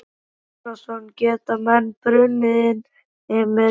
Hafþór Gunnarsson: Geta menn brunnið inni með dýr?